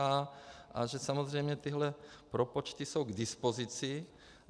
A že samozřejmě tyhle propočty jsou k dispozici.